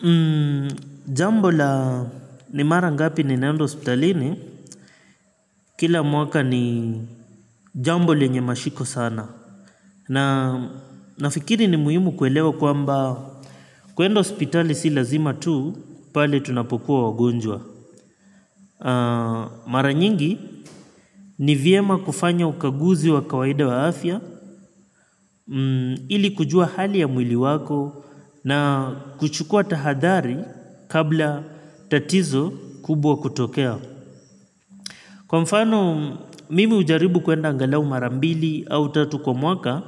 Hmm, jambo la ni mara ngapi ni naendo hospitalini, kila mwaka ni jambo lenye mashiko sana. Na nafikiri ni muhimu kuelewa kwamba, kuenda hospitali si lazima tu, pale tunapokuwa wagonjwa. Hmm, mara nyingi ni vyema kufanya ukaguzi wa kawaida wa afya, Hmm, ili kujua hali ya mwili wako na kuchukua tahadhari kabla tatizo kubwa kutokea. Kwa mfano, mimi hujaribu kuenda angalau marambili au tatu kwa mwaka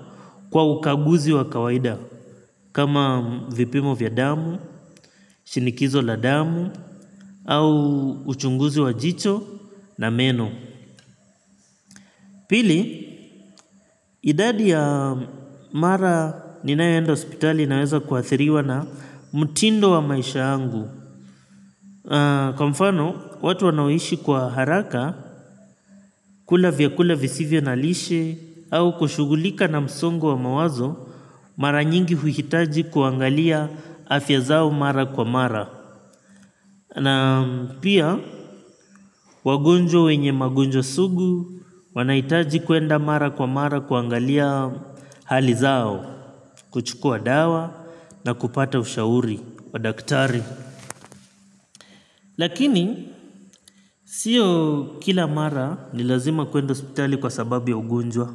kwa ukaguzi wa kawaida. Kama vipimo vya damu, shinikizo la damu, au uchunguzi wa jicho na meno. Pili, idadi ya mara ninayoenda hospitali naweza kuathiriwa na mtindo wa maisha yangu. Kwa mfano, watu wanaoishi kwa haraka, kula vya kula visivyo na lishe, au kushugulika na msongo wa mawazo, mara nyingi huhitaji kuangalia afya zao mara kwa mara. Na pia, wagonjwa wenye magonjwa sugu, wanahitaji kwenda mara kwa mara kuangalia hali zao, kuchukua dawa, na kupata ushauri, wadaktari. Lakini sio kila mara ni lazima kwenda hospitali kwa sababu ya ugonjwa.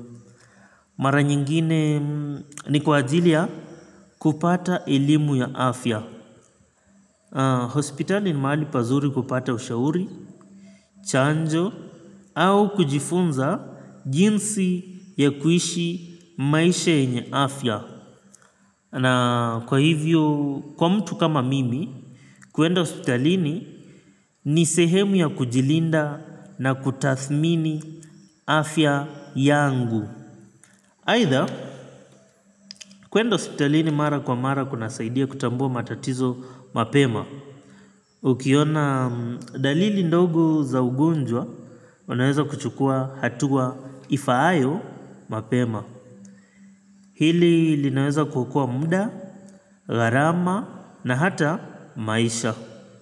Mara nyingine ni kwa ajili ya kupata elimu ya afya. Hospitali ni maali pazuri kupata ushauri, chanjo au kujifunza jinsi ya kuishi maisha ya nye afya. Na kwa hivyo, kwa mtu kama mimi, kuenda hospitalini ni sehemu ya kujilinda na kutathmini afya yangu. Aidha, kwenda hospitalini mara kwa mara kunasaidia kutambua matatizo mapema. Ukiona dalili ndogo za ugonjwa, unaweza kuchukua hatua ifaayo mapema. Hili linaweza kuokoa muda, gharama na hata maisha.